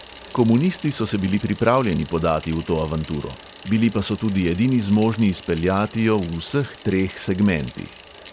Komunisti so se bili pripravljeni podati v to avanturo, bili pa so tudi edini zmožni izpeljati jo v vseh treh segmentih.